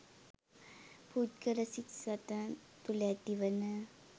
පුද්ගල සිත් සතන් තුළ ඇතිවන